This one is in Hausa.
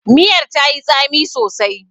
Miyar tayi tsami sosai.